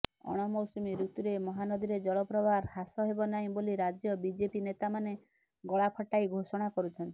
ଅଣମୌସୁମୀ ଋତୁରେ ମହାନଦୀରେ ଜଳପ୍ରବାହ ହ୍ରାସ ହେବ ନାହିଁ ବୋଲି ରାଜ୍ୟ ବିଜେପି ନେତାମାନେ ଗଳାଫଟାଇ ଘୋଷଣା କରୁଛନ୍ତି